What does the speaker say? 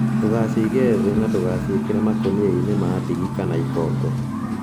Ndũgashige thĩ na ndũkaciĩkĩre makũniainĩ ma ndigi kana ikongo